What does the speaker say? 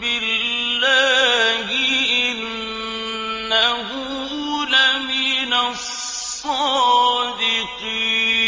بِاللَّهِ ۙ إِنَّهُ لَمِنَ الصَّادِقِينَ